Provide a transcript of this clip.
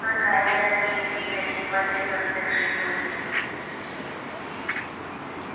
только они одни и двигались в этой застывшей пустыне